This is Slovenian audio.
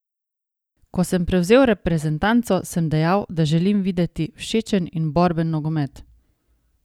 Ko sem prevzel reprezentanco, sem dejal, da želim videti všečen in borben nogomet.